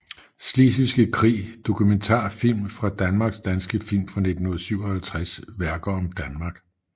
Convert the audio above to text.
Slesvigske Krig Dokumentarfilm fra Danmark Danske film fra 1957 Værker om Danmark